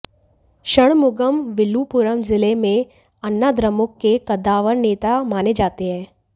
षणमुगम विल्लुपुरम जिले में अन्नाद्रमुक के कद्दावर नेता माने जाते हैं